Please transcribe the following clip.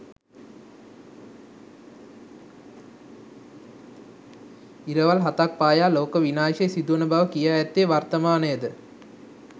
ඉරවල් හතක් පායා ලෝක විනාශය සිදුවන බව කියා ඇත්තේ වර්තමානයද?